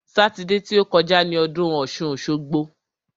Sátidé ti ó kọjá ni ọdún ọ̀ṣun-òṣogbo.